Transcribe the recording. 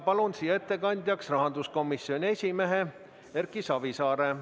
Palun siia ettekandjaks rahanduskomisjoni esimehe Erki Savisaare!